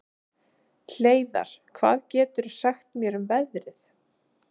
Hleiðar, hvað geturðu sagt mér um veðrið?